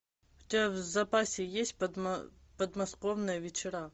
у тебя в запасе есть подмосковные вечера